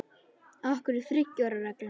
Af hverju þriggja ára reglan?